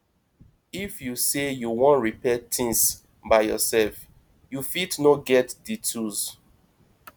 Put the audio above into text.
if you sey you wan repair things by yourself you fit no get di tools